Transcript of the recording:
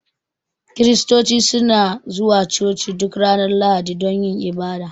kiristoci suna zuwa coci duk Ranar lahadi dun yin ibada.